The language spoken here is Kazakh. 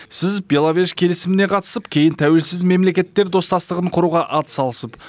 сіз беловеж келісіміне қатысып кейін тәуелсіз мемлекеттер достастығын құруға атсалысып